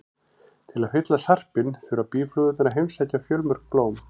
Til að fylla sarpinn þurfa býflugurnar að heimsækja fjölmörg blóm.